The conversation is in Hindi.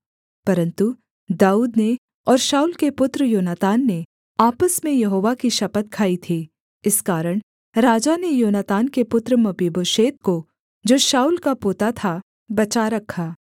परन्तु दाऊद ने और शाऊल के पुत्र योनातान ने आपस में यहोवा की शपथ खाई थी इस कारण राजा ने योनातान के पुत्र मपीबोशेत को जो शाऊल का पोता था बचा रखा